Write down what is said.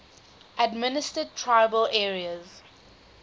administered tribal areas